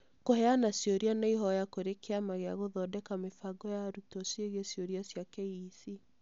Kũheana ciũria na ihoya kũrĩ Kĩama gĩa gũthondeka mĩbango ya arutwo ciĩgiĩ ciũria cĩa KEC